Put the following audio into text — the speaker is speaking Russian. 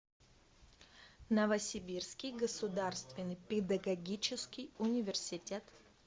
новосибирский государственный педагогический университет